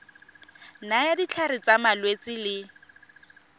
nayang ditlhare tsa malwetse le